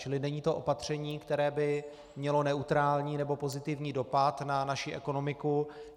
Čili není to opatření, které by mělo neutrální nebo pozitivní dopad na naši ekonomiku.